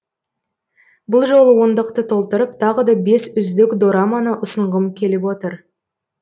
бұл жолы ондықты толтырып тағы да бес үздік дорбаны ұсынғым келіп отыр